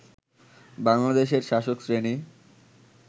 বাংলাদেশের শাসক শ্রেণি